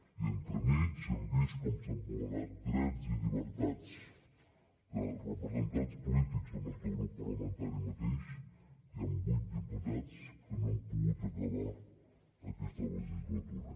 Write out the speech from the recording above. i entremig hem vist com s’han vulnerat drets i llibertats de representants polítics del nostre grup parlamentari mateix hi han vuit diputats que no han pogut acabar aquesta legislatura